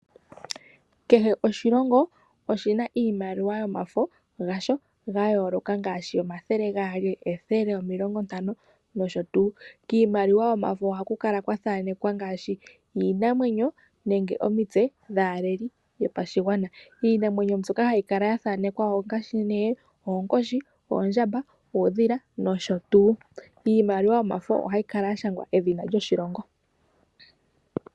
Kehe oshilongo oshi na iimaliwa yasho yomafo ya yooloka ngaashi omathele gaali, ethele, omilongo Ntano nosho tuu. Kiimaliwa yomafo oha ku kala kwa thanekwa ngaashi iinamwenyo nenge omitse dhaaleli yopashigwana. Iinamwenyo mbyoka ha yi kala ya thanekwa ko ongaashi nee oonkodhi, oondjamba, uudhila nosho tuu. Iimaliwa yomafo oha yi kala ya shangwa edhina lyoshilongo.